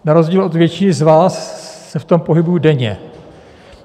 Na rozdíl od většiny z vás se v tom pohybuji denně.